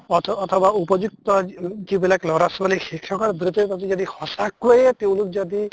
অথ অথবা উপযুক্ত যিবিলাক লʼৰা ছোৱালী শিক্ষ্কৰ বৃত্তিৰ প্ৰতি যদি সঁচাকৈয়ে তেওঁলোক যদি